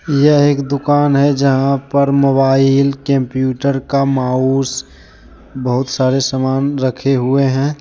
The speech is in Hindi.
यह एक दुकान है जहाँ पर मोबाइल कंप्यूटर का माउस बहुत सारे सामान रखे हुए हैं।